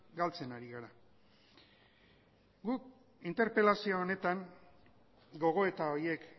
galtzen ari gara guk interpelazio honetan gogoeta horiek